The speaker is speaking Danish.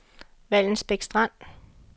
Vallensbæk Strand